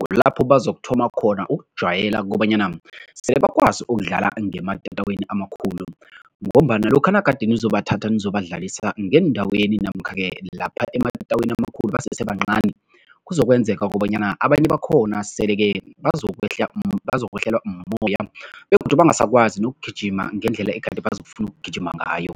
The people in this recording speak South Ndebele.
Kulapho bazokuthoma khona ukujwayeleka kobanyana sele bakwazi ukudlala ngematatawini amakhulu ngombana lokha nagade nizobathatha, nizobadlalisa ngeendaweni namkha-ke lapha ematatawini amakhulu basesebancani, kuzokwenzeka kobanyana abanye bakhona sele-ke uzokwehla bazokwehlelwa mumoya begodu bangasakwazi nokugijima ngendlela egade bazokufuna ukugijima ngayo.